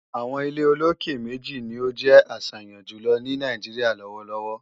àwọn ilé olókè méjì ni ó jẹ́ àṣàyàn jùlọ ní Nàìjíríà lọ́wọ́lọ́wọ́.